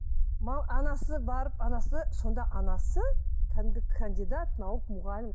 анасы барып анасы сонда анасы кәдімгі кандидат наук мұғалім